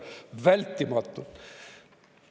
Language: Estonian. Vältimatu!